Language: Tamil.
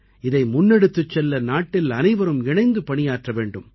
இதை முன்னெடுத்துச் செல்ல நாட்டில் அனைவரும் இணைந்து பணியாற்ற வேண்டும்